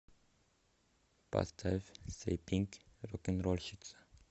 поставь сэйпинк рокенрольщица